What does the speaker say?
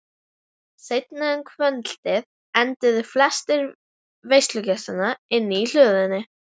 Seinna um kvöldið enduðu flestir veislugestanna inni í hlöðunni.